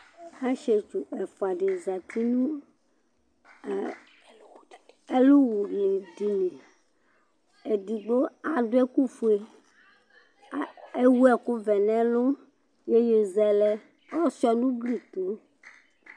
Asiɛtsu ɛfʋa di zɛti nʋ ɛlu wu dìní Ɛdigbo adu ɛku fʋe Ewu ɛku vɛ nʋ ɛlu iyeyi zɛlɛ ɔsʋia nʋ ʋgli tu